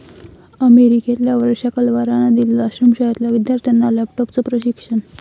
अमेरिकेतल्या वर्षा कलवारनं दिलं आश्रमशाळेतल्या विद्यार्थ्यांना लॅपटॉपचं प्रशिक्षण